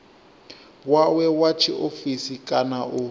wawe wa tshiofisi kana u